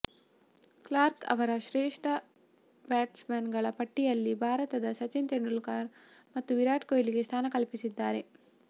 Clarke ಅವರ ಶ್ರೇಷ್ಠ batsman ಗಳ ಪಟ್ಟಿಯಲ್ಲಿ ಭಾರತದ ಸಚಿನ್ ತೆಂಡೂಲ್ಕರ್ ಮತ್ತು ವಿರಾಟ್ ಕೊಹ್ಲಿಗೆ ಸ್ಥಾನ ಕಲ್ಪಿಸಿದ್ದಾರೆ